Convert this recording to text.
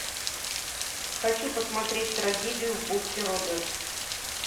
хочу посмотреть трагедию в бухте роджерс